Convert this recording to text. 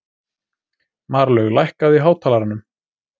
Marlaug, lækkaðu í hátalaranum.